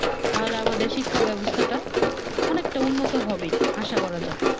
তা আমাদের শিক্ষা ব্যবস্থাটা অনেক টা উন্নত হবে আশা করা যাই।